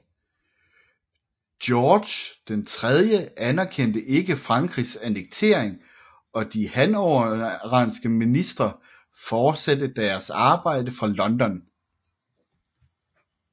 George III anerkendte ikke Frankrigs annektering og de hannoveranske ministre fortsatte deresarbejde fra London